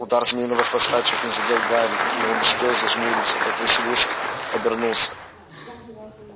удар змеиного хвоста чуть не задел гарри и он успел он зажмуриться как василиск обернулся